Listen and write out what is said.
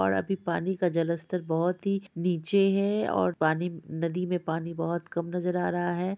और अभी पानी का जलस्तर बहुत ही नीचे है और पानी नदी मे पानी बहुत कम नजर आ रहा है।